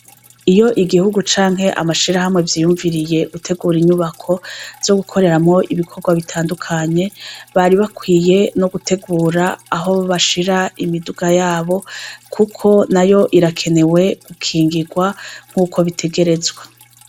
Iyo igihugu canke amashirahamwe vyiyumviriye gutegura inyubako zogukoreramwo ibikorwa bitandukanye bari bakwiye nogutegura aho bashira imiduga yabo kuko nayo irakenewe gukingirwa nkuko bitegerezwa